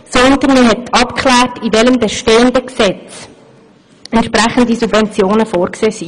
Vielmehr klärte man ab, in welchem bestehenden Gesetz entsprechende Subventionen vorgesehen sind.